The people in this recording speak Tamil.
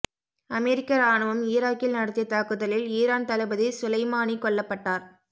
அமெரிக்க ராணுவம் ஈராக்கில் நடத்திய தாக்குதலில் ஈரான் தளபதி சுலைமானி கொல்லப்பட்டார்